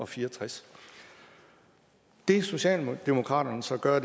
fire og tres det socialdemokraterne så gør